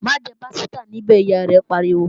Má jẹ pásítà níbẹ̀, Ìyá rẹ̀ pariwo!